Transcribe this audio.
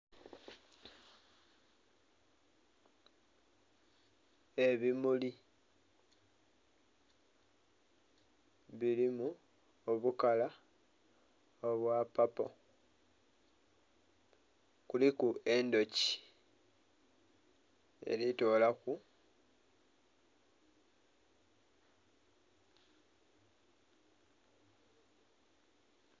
Ebimuli bilimu obukala obwa papo. Kuliku endhuki eli tolaku...